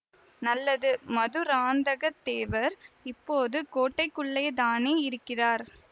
நல்லது மதுராந்தக தேவர் இப்போது கோட்டைக்குள்ளேதானே இருக்கிறார்